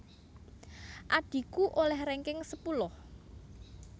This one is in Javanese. Adhiku oleh ranking sepuluh